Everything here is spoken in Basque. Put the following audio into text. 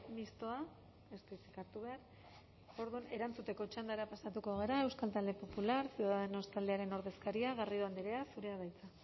mistoa ez du hitzik hartu behar orduan erantzuteko txandara pasatuko gara euskal talde popular ciudadanos taldearen ordezkaria garrido andrea zurea da hitza